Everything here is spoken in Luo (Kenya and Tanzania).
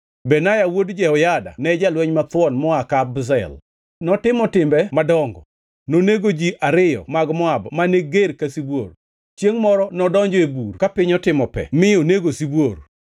Benaya wuod Jehoyada ne jalweny mathuon moa Kabzel, notimo timbe madongo. Nonego ji ariyo mag Moab mane ger ka sibuor. Chiengʼ moro nodonjo e bur ka piny otimo pe mi onego sibuor.